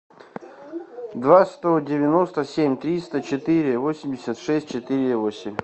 два сто девяносто семь триста четыре восемьдесят шесть четыре восемь